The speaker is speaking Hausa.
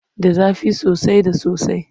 Da zafi soasai da sosai.